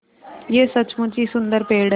यह सचमुच ही सुन्दर पेड़ है